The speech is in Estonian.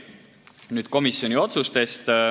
Nüüd komisjoni otsustest.